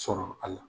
Sɔrɔ a la